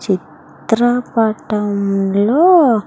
చిత్ర పటంలో--